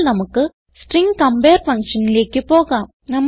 ഇപ്പോൾ നമുക്ക് string compare ഫങ്ഷനിലേക്ക് പോകാം